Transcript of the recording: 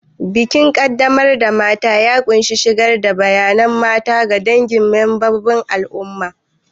Bikin qaddamar da mata ya ƙunshi shigar da bayyana mata ga dangi da membobin al'umma.